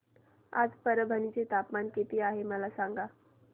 आज परभणी चे तापमान किती आहे मला सांगा